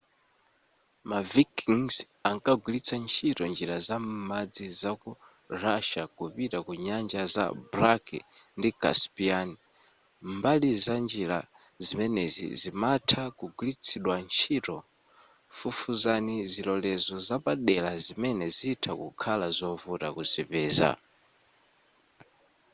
ma vikings ankagwilitsa ntchito njira za m'madzi za ku russia kupita ku nyanja za black ndi caspian mbali za njira zimenezi zimatha kugwiritsidwa ntchito fufuzani zilolezo zapadela zimene zitha kukhala zovuta kuzipeza